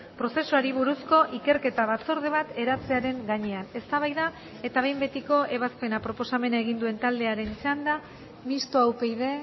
prozesuari buruzko ikerketa batzorde bat eratzearen gainean eztabaida eta behin betiko ebazpena proposamena egin duen taldearen txanda mistoa upyd